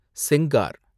Sengar